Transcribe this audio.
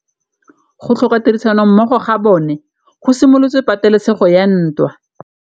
Go tlhoka tirsanommogo ga bone go simolotse patêlêsêgô ya ntwa.